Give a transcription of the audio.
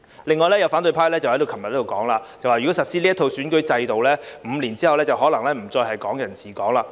另有反對派昨天在這裏表示，如果實施這一套選舉制度 ，5 年後可能不再是"港人治港"。